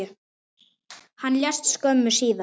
Hann lést skömmu síðar.